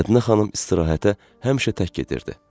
Mədinə xanım istirahətə həmişə tək gedirdi.